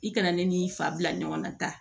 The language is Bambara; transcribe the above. I kana ne n'i fa bila ɲɔgɔn na tan